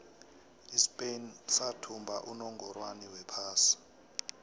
ispain sathumba unongorwond wephasi